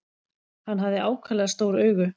Hann hafði ákaflega stór augu.